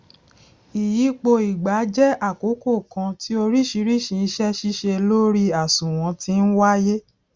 iyípo ìgbà jẹ àkókò kan tí oríṣiríṣi ise sise lori àsùnwòn ti ńwáyé